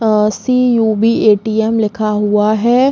और सी.यू.बी.भी. ए.टी.एम. लिखा हुआ है।